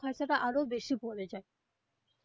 ওখানের থেকে আরো বেশি পরে যায়.